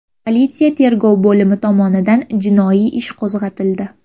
Politsiya tergov bo‘limi tomonidan jinoiy ish qo‘zg‘atildi.